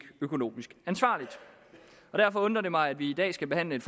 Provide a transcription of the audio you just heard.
økonomisk ansvarligt og derfor undrer det mig at vi i dag skal behandle